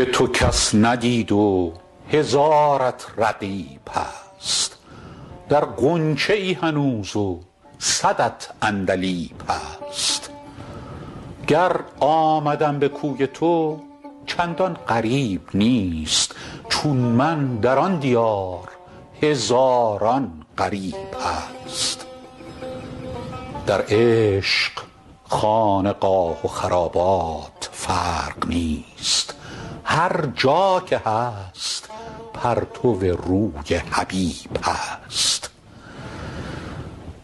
روی تو کس ندید و هزارت رقیب هست در غنچه ای هنوز و صدت عندلیب هست گر آمدم به کوی تو چندان غریب نیست چون من در آن دیار هزاران غریب هست در عشق خانقاه و خرابات فرق نیست هر جا که هست پرتو روی حبیب هست